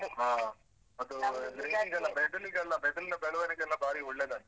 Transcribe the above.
ಹ ಅದೂ ಮೆದುಳಿಗೆಲ್ಲ ಮೆದುಳಿನ ಬೆಳವಣಿಗೆಗೆಲ್ಲ ಬಾರಿ ಒಳ್ಳೆದಂತೆ.